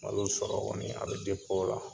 Malo sɔrɔ kɔni a bɛ o la